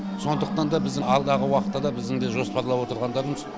сондықтан да біздің алдағы уақытта да біздің де жоспарлап отырғандарымыз